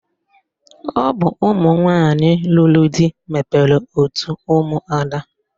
Ọ bụ ụmụnwanyị lụrụ di mebere otu ụmụada